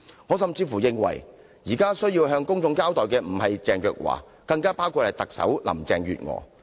我甚至認為現在有需要向公眾交代的不止是鄭若驊，還有特首林鄭月娥。